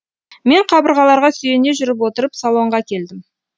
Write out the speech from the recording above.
мен қабырғаларға сүйене жүріп отырып салонға келдім